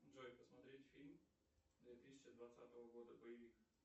джой посмотреть фильм две тысячи двадцатого года боевик